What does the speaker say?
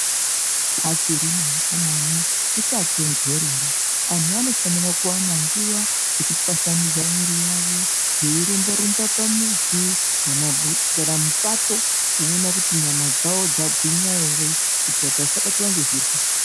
Achiri mangwanani kuchatontorera, antu anofanira kuwana nguva yekutwasanudza miviri yavo veirumba rumba pamuzi kana mupato veiona kuti nyama dzavo dzagwinya here kuitira kuti vasabatwa ngezvirwere.